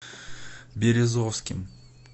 березовским